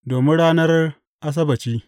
Domin ranar Asabbaci.